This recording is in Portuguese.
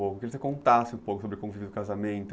Eu queria que você contasse um pouco sobre o convívio do casamento.